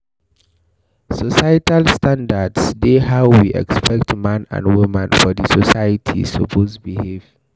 Societal standards dey how we expect man and woman for di society suppose behave